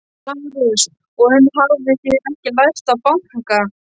LÁRUS: Og enn hafið þér ekki lært að banka.